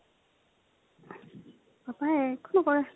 papa য়ে একো নকৰে।